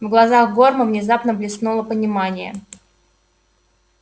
в глазах горма внезапно блеснуло понимание